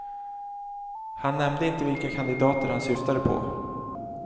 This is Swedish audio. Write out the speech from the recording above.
Han nämnde inte vilka kandidater han syftade på.